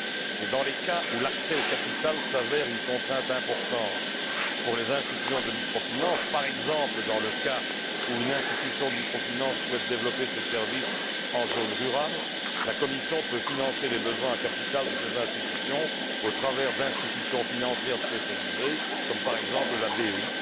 Et, dans les cas où l'accès au capital s'avère une contrainte importante pour les institutions de micro finance, par exemple, dans le cas où une institution de micro finance souhaite développer ses services en zone rurale, la Commission peut financer les besoins en capital de ces institutions au travers d'institutions financières spécialisées, comme la